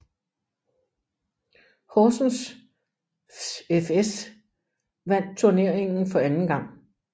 Horsens fS vandt turneringen for anden gang